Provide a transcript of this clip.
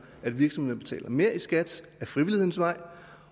at virksomhederne betaler mere i skat ad frivillighedens vej